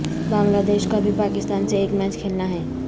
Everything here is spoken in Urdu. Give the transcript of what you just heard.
بنگلہ دیش کو ابھی پاکستان سے ایک میچ کھیلنا ہے